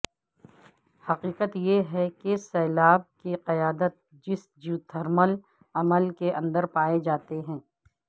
حقیقت یہ ہے کہ سیلاب کی قیادت جس جیوتھرمل عمل کے اندر پائے جاتے ہیں